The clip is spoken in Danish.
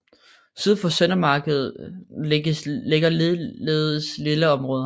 Syd for Søndermarken ligger ligeledes villaområder